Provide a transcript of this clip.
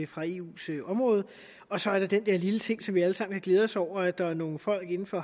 fra eus område og så er der den der lille ting som vi alle sammen har glædet os over nemlig at der er nogle folk inden for